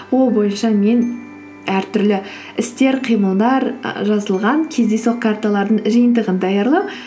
ол бойынша мен әртүрлі істер қимылдар ы жазылған кездейсоқ карталардың жиынтығын даярлап